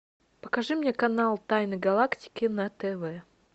покажи мне канал тайны галактики на тв